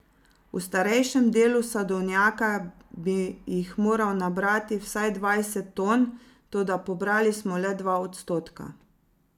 V starejšem delu sadovnjaka bi jih moral nabrati vsaj dvajset ton, toda pobrali smo le dva odstotka.